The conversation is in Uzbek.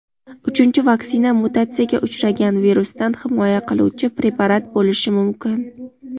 uchinchi vaksina mutatsiyaga uchragan virusdan himoya qiluvchi preparat bo‘lishi mumkin.